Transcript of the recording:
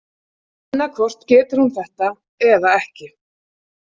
Annaðhvort getur hún þetta eða ekki.